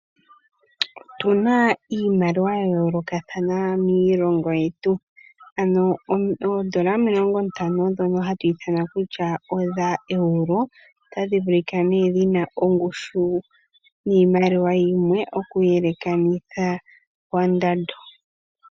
Otuna iimaliwa yayolokathana miilongo yetu ano oondola omilongo ntano dhono hadhi ithanwa kusha odha euro otashi vulika nee shina ongushu yimwe oku elekanitha kondando.